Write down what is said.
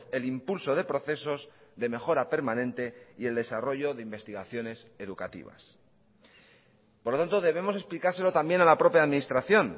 el impulso de procesos de mejora permanente y el desarrollo de investigaciones educativas por lo tanto debemos explicárselo también a la propia administración